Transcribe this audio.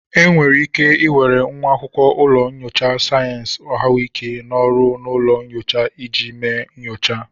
Enwere ike were nwa akwụkwọ ụlọ nyocha sayensị ahụike n'ọrụ n'ụlọ nyocha iji mee nyocha